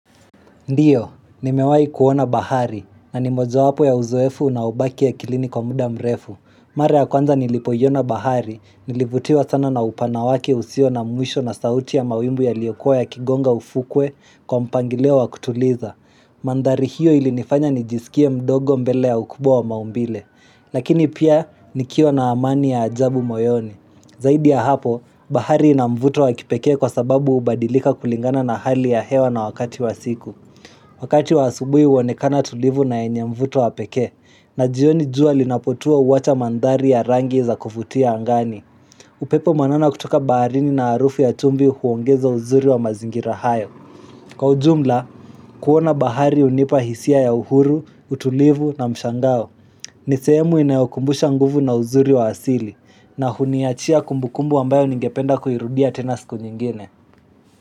Ndiyo, nimewai kuona bahari, na ni moja wapo ya uzoefu na ubaki ya kilini kwa muda mrefu. Mara ya kwanza nilipoyona bahari, nilivutiwa sana na upanawaki usio na mwisho na sauti ya mawimbu ya liyokua ya kigonga ufukwe kwa mpangileo wa kutuliza. Mandari hiyo ilinifanya nijisikie mdogo mbele ya ukubwa wa maumbile. Lakini pia, nikiwa na amani ya ajabu moyoni. Zaidi ya hapo, bahari inamvuto wa kipekee kwa sababu ubadilika kulingana na hali ya hewa na wakati wa siku. Wakati waasubui uonekana tulivu na enyemvuto wapeke, na jioni jua linapotua uwacha mandhari ya rangi za kufutia angani, upepo manana kutoka baharini na arufu ya chumbi huongeza uzuri wa mazingira hayo. Kwa ujumla, kuona bahari unipa hisia ya uhuru, utulivu na mshangao, nisehemu inayokumbusha nguvu na uzuri wa asili, na huniachia kumbukumbu ambayo ningependa kuhirudia tena siku nyingine.